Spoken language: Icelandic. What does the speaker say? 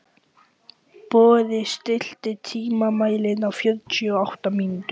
Boði, stilltu tímamælinn á fjörutíu og átta mínútur.